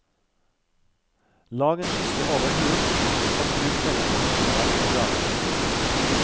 Lag en skisse over hulen, og bruk denne som en plan å grave etter.